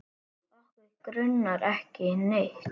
Okkur grunar ekki neitt.